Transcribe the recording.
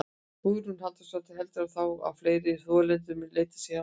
Hugrún Halldórsdóttir: Heldurðu þá að fleiri þolendur muni leita sér hjálpar?